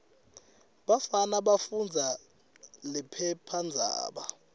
bafana bafundza liphephandzaba